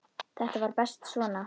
Þetta var best svona.